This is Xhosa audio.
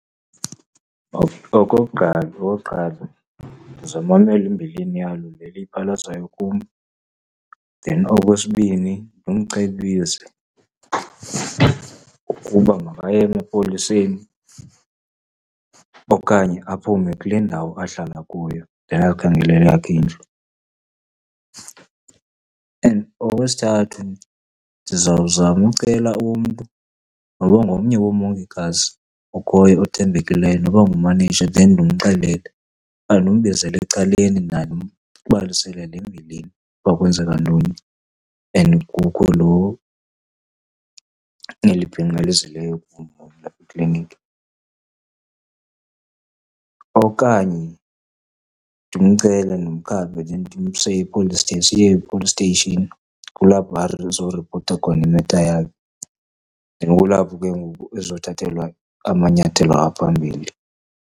Okokuqala, okokuqala ndizawumamela imbilini yalo le liyiphalazayo kum. Then okwesibini, ndimcebise ukuba makaye emapoliseni okanye aphume kule ndawo ahlala kuyo, ayokhangela eyakhe indlu. And okwesithathu, ndizawuzama ucela umntu, noba ngomnye woomongikazi okhoyo othembekileyo noba ngumaneja, then ndimxelele okanye ndimbizeli ecaleni naye ndimbalisele le mbilini, uba kwenzeka ntoni and kukho lo, neli bhinqa lizileyo kum apha eklinikhi. Okanye ndimcele ndimkhaphe ndimse e-police , siye e-police station. Kulapho azoripota khona i-matter yakhe, then kulapho ke ngoku ezothathelwa amanyathelo aphambili.